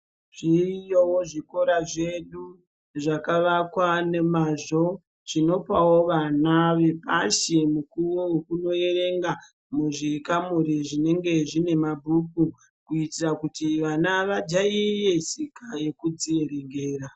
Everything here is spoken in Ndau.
Zviriyo zvikora zvedu zvakavakwa nemazvo zvinopawo vana vepashi mukuwo wekundoverenga muzvikamuri zvinenge zviine mabhuku kuitire kuti vana vajairire tsika yekudzierengera.